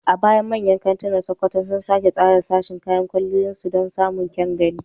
A baya, manyan kantunan Sokoto sun sake tsara sashin kayan kwalliyar su don samun kyan gani.